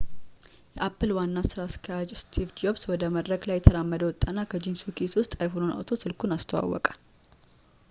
የapple ዋና ስራ አስኪያጅ steve jobs ወደ መድረክ ላይ እየተራመደ ወጣና ከጂንስ ኪሱ ውስጥ iphoneኑን አውጥቶ ስልኩን አስተዋወቀ